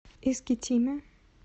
искитиме